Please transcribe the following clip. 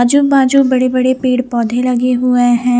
आजू बाजू बड़े बड़े पेड़ पोधे लगे हुए है।